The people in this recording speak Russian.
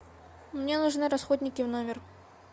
мне нужны расходники в номер